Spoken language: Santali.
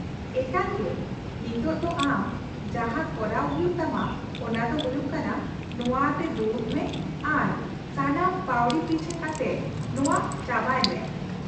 -ᱮᱠᱟᱞᱜᱮ! ᱱᱤᱛ ᱫᱚ ᱟᱢ ᱡᱟᱦᱟᱸ ᱠᱚᱨᱟᱣ ᱦᱩᱭᱩᱜ ᱛᱟᱢᱟ ᱚᱱᱟ ᱫᱚ ᱦᱩᱭᱩᱜ ᱠᱟᱱᱟ ᱱᱚᱶᱟ ᱟᱛᱮ ᱫᱩᱲᱩᱵ ᱢᱮ ᱟᱨ ᱥᱟᱱᱟᱢ ᱯᱟᱣᱲᱤ ᱯᱤᱪᱷᱟᱹ ᱠᱟᱛᱮ ᱱᱚᱶᱟ ᱪᱟᱵᱟᱭ ᱢᱮ ᱾